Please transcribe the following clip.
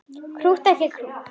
Krútt og ekki krútt.